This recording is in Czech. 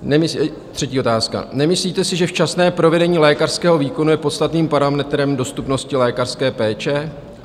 Třetí otázka: Nemyslíte si, že včasné provedené lékařského výkonu je podstatným parametrem dostupnosti lékařské péče?